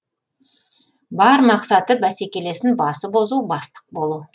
бар мақсаты бәсекелесін басып озу бастық болу